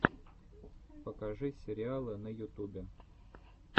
покажи сериалы на ютубе